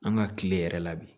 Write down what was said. An ka tile yɛrɛ la bi